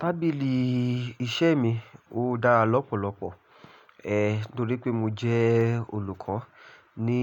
Tábìlì iṣẹ́ mi ó dára lọ́pọ̀lọpọ̀, ẹ́ torí pé mo jẹ́ olùkọ́ ní